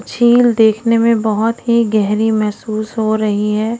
छिल देखने में बहोत ही गेहरी महसूस हो रही हैं।